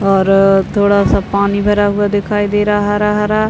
और थोड़ा सा पानी भरा हुआ दिखाई दे रहा है हरा-हरा --